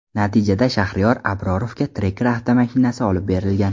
Natijada Shaxriyor Abrorovga Tracker avtomashinasi olib berilgan.